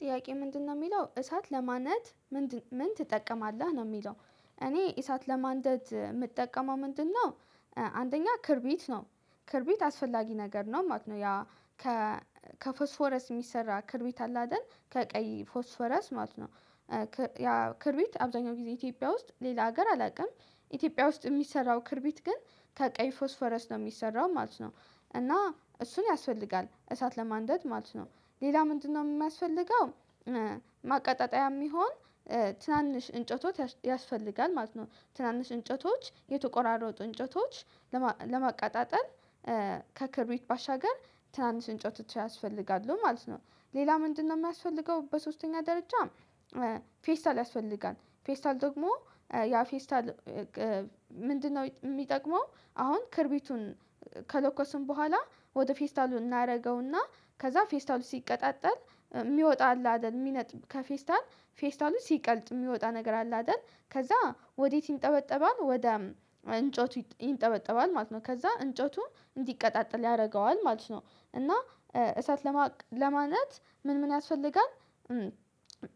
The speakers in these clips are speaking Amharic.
ጥያቄ ምንድነው የሚለው እሳት ለማነት ምንድን ምን ትጠቀማለህ ነው የሚለው እኔ እሳት ለማንደድ የምጠቀመው ምንድነው? አንደኛ ክርቢት ነው ክርቢት አስፈላጊ ነገር ነው ማለት ነው ያ ከፎስፎረስ የሚሰራ ክርቢት አለ አይደል ከቀይ ፎስፎረስ ማለት ነው፤ ያ ክርቢት አብዛኛው ጊዜ ኢትዮጵያ ውስጥ ሌላ ሀገር አላውቅም ኢትዮጵያ ውስጥ የሚሰራው ክርቢት ግን ከቀይ ፎስ ፎረስ ነው የሚሰራው ማለት ነው እና እሱን ያስፈልጋል እሳት ለማንደድ ማለት ነው ሌላ ምንድነው የሚያስፈልገው ማቀጣጠያ የሚሆን ትናንሽ እንጨቶች ያስፈልጋል ማለት ነው ትናንሽ እንጨቶች የተቆራረጡ እንጨቶች ለማቀጣጠል ከክብሩት ባሻገር ትናንሽ እጨቶች ያስፈልጋሉ ማለት ነው ሌላ ምንድነው የሚያስፈልገው በሶስተኛ ደረጃ ፌስታል ያስፈልጋል ፌስታል ደግሞ ያ ፌስታል ምንድነው የሚጠቅመው አሁን ክርቢቱን ከለኮስን በኋላ ወደ ፌስታሉ እናደርገውና ከዛ ፌስታሉ ሲቀጣጠል የሚወጣ አለ አይደል የሚነጥብ ከፌስታል ፌስታሎች ሲቀልጥ የሚወጣ ነገር አለ አይደል ከዛ ወዴት ይንጠበጠባል ወደ እንጨቱ ይንጠበጠባል ማለት ነው ከዛ እንጨቱን እንዲቀጣጠል ያደርገዋል ማለት ነው እና እሳት ለማለት ምን ምን ያስፈልጋል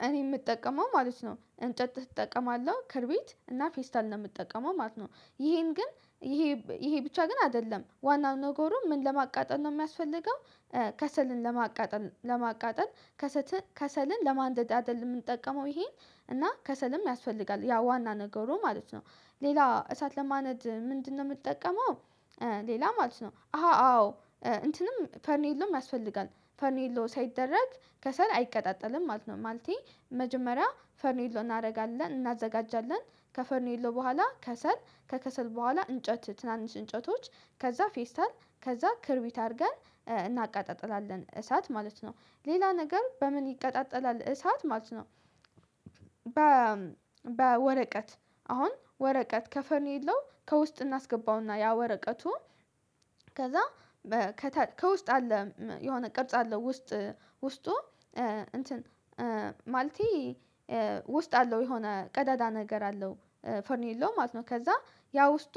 እኔ የምጠቀመው ማለት ነው እንጨት እጠቀማለሁ ክርቢት እና ፌስታል ነው የምጠቀመው ማለት ነው ይሄን ግን ይሄ ብቻ ግን አይደለም ዋናው ነገሩ ምን ለማቃጠል ነው የሚያስፈልገው ከሰልን ለማቃጠል ለማቃጠል ከሰልን ለማንደድ አይደለም የምንጠቀመው ይሄን እና ከሰልም ያስፈልጋል ያ ዋና ነገሩ ማለት ነው ሌላ እሳት ለማነድ ምንድነው የምንጠቀመው ሌላ ማለት ነው አሃ አዎ እንትንም ፈርኒል ነው ያስፈልጋል ፈርኔሎ ሳይደረግ ከሰል አይቀጣጠልም ማለት ነው ማለቴ መጀመሪያ ፈርኔሎ እናደርጋለን እናዘጋጃለን ከፈርኔሎ በኋላ ከሰል ከከሰል በኋላ እንጨት ትናንሽ እንጨቶች ከዛ ፌስታል ከዛ ክርቢት አድርገን እናቃጠላለን እሳት ማለት ነው ሌላ ነገር በምን ይቀጣጠላል እሳት ማለት ነው በ በወረቀት አሁን ወረቀት ከፈኑ የለውም ከውስጥ እናስገባውና ያ ወረቀቱ ከዛ ከውስጥ አለ የሆነ ቅርጽ አለ ውስጥ ውስጡ እንትን ማለቴ ውስጥ አለው የሆነ ቀዳዳ ነገር አለው ፈርኒሎ ማለት ነው ከዛ ያ ውስጡ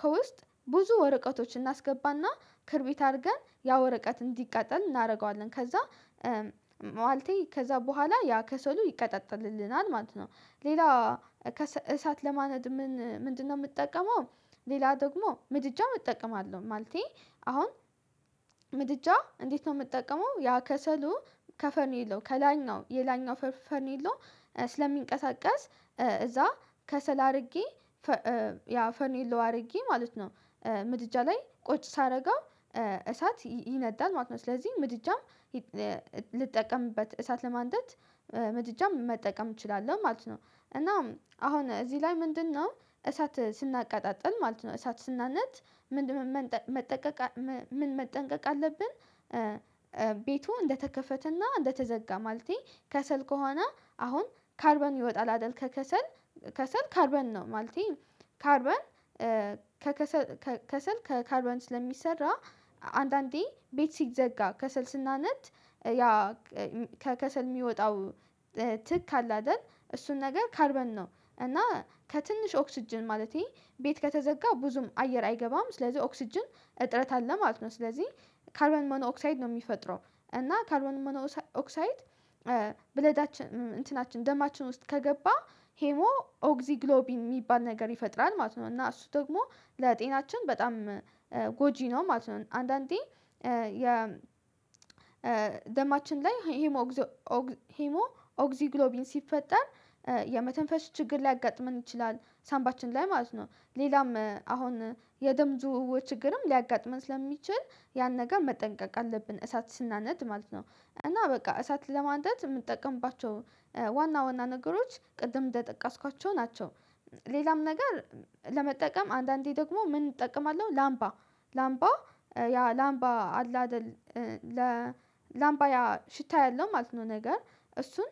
ከውስጥ ብዙ ወረቀቶችን እናስገባና ክርቢት አድርገን ያ ወረቀት እንዲቃጠል እናደርገዋለን ከዛ ማለቴ ከዛ በኋላ ያ ከሰሉ ይቀጥጥልልናል ማለት ነው ሌላ እሳት ለማነድ ምንድነው የምጠቀመው ሌላ ደግሞ ምድጃም እጠቀማለሁ ማለቴ አሁን ምድጃ እንዴት ነው የምጠቀመው ያ ከሰሉ ከፈኔሎ ከላኛው የላኛው ፈኔሎ ስለሚንቀሳቀስ እዛ ከሰል አድርጌ ያ ፈኔሎ አድርጌ ማለት ነው ምድጃ ላይ ቁጭ ሳደርገው እሳት ይነዳል ማለት ነው ስለዚህ ምድጃም ልጠቀምበት እሳት ለማንደት ምድጃ መጠቀም እችላለሁ ማለት ነው እና አሁን እዚህ ላይ ምንድነው እሳት ስናቃጣጥል ማለት ነው እሳት ስናነድ ምን መጠንቀቅ ምን መጠንቀቅ አለብን ቤቱ እንደተከፈተና እንደተዘጋ ማለቴ ከሰል ከሆነ አሁን ካርበን ይወጣል አይደል ከከሰል ከሰል ካርበን ነው ማለቴ ካርበን ከከሰል ከከሰል ከካርበን ስለሚሰራ አንዳንዴ ቤት ሲዘጋ ከሰል ስናነድ ያ ከከሰል የሚወጣው ትክ አለ አይደል እሱን ነገር ካርበን ነው እና ከትንሽ ኦክስጅን ማለቴ ቤት ከተዘጋ ብዙም አየር አይገባም ስለዚህ ኦክስጅን እጥረት አለ ማለት ነው ስለዚህ ካልበን ሞኖኦክሳይድ ነው የሚፈጥረው እና ካርበን ሞኖ ኦክሳይድ ብለዳችን እንትናችን ደማችን ውስጥ ከገባ ሄሞ ኦግዚግሎቢ የሚባል ነገር ይፈጥራል ማለት ነው እና እሱ ደግሞ ለጤናችን በጣም ጎጂ ነው ማለት ነው አንዳንዴ የ ደማችን ላይ ሂሞ ሂሞ ኦግዚግሎቢን ሲፈጠር የመተንፈስ ችግር ላይ ሊያጋጥመን ይችላል ሳንባችን ላይ ማለት ነው ሌላም አሁን የደም ዝውውር ችግርም ሊያጋጥመን ስለሚችል ያን ነገር መጠንቀቅ አለብን እሳት ስናነድ ማለት ነው እና በቃ እሳት ለማንደት የምጠቀምባቸው ዋና ዋና ነገሮች ቅድም እንደጠቀስኳቸው ናቸው፤ ሌላም ነገር ለመጠቀም አንዳንዴ ደግሞ ምን እጠቀማለሁ ላምባ ላምባ ያ ላምባ አላደል ላምባ ያ ሽታ ያለው ማለት ነው ነገር እሱን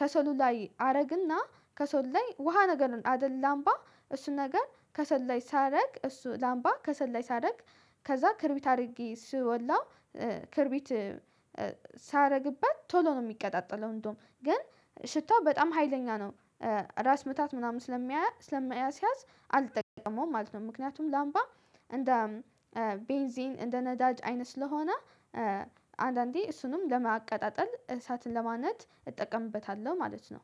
ከሰሉ ላይ አረግና ከሰሉ ላይ ውሃ ነገር አይደለም አምባ እሱን ነገር ከሰል ላይ ሳደርግ እሱ ላምባ ከሰል ላይ ሳደርግ ከዛ ክርቢት አድርጌ እሱ ወላው ክርቢት ሳደርግበት ቶሎ ነው የሚቀጣጠለው እንደውም ግን ሽታው በጣም ሀይለኛ ነው ራስ ምታት ምናምን ስለሚያዝ ስለሚያስያዝ አልጠቀመውም ማለት ነው ምክንያቱም ላምባ እንደ ቤንዚን እንደ ነዳጅ አይነት ስለሆነ አንዳንዴ እሱንም ለማቀጣጠል እሳትን ለማነድ እጠቀምበታለሁ ማለት ነው